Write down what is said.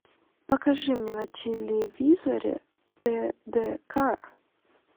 покажи мне на телевизоре тдк